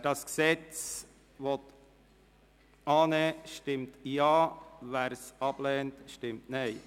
Wer das Gesetz annimmt, stimmt Ja, wer dieses ablehnt, stimmt Nein.